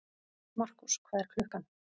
Markús, hvað er klukkan?